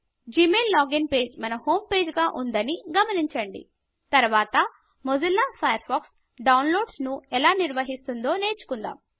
Gmail login page మన home పేజ్గా ఉందని గమించండి తరువాత మొజిల్లా ఫయర్ ఫాక్స్ డౌన్లోడ్లను ఎలా నిర్వహిస్తుందో నేర్చుకుందాము